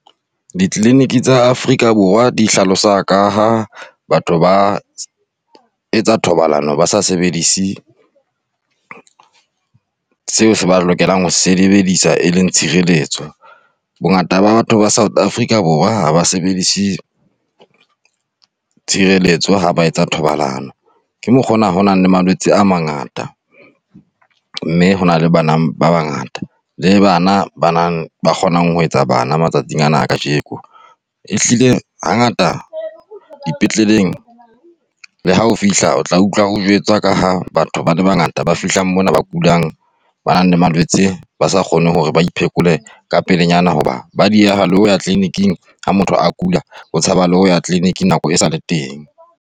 Di-clinic tsa Afrika Borwa di hlalosa ka ha batho ba etsa thobalano, ba sa sebedise seo se ba lokelang ho sebedisa e leng tshireletso. Bongata ba batho ba South Africa Borwa ha ba sebedise tshireletso ha ba etsa thobalano. Ke mokgona ho nang le malwetse a mangata, mme ho na le bana ba bangata le bana bana ba kgonang ho etsa bana matsatsing ana a kajeko. Ehlile hangata dipetleleng le ha o fihla o tla utlwa o jwetsa ka ha batho ba le bangata ba fihla mona ba kulang, ba nang le malwetse, ba sa kgone hore ba iphekole ka pelenyana hoba ba dieha le ho ya tliliniking ha motho a kula, o tshaba ho ya tliliniking nako e sale teng.